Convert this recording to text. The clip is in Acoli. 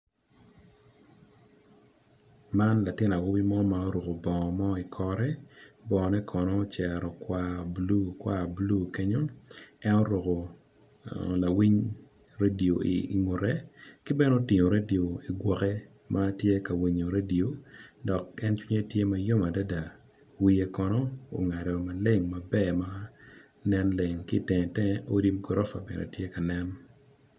Man latin awobi mo ma oruko bongo mo i kore bongo ne kono ocero kwar blue kwar blue kenyo en oruko lawiny radio i ngute kibene otingo radio igwoke matye ka winyo radio dok en cinge tye ma yom adada wiye kono ongado maleng maber ma nen leng kitengetenge odi ma gorofa bene tye ka nen.